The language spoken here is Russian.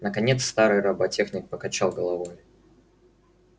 наконец старый роботехник покачал головой